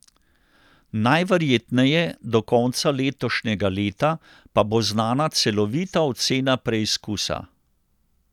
Najverjetneje do konca letošnjega leta pa bo znana celovita ocena preizkusa.